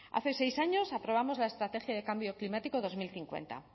hace seis años aprobamos la estrategia de cambio climático dos mil cincuenta